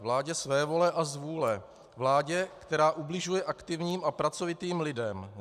Vládě svévole a zvůle, vládě, která ubližuje aktivním a pracovitým lidem.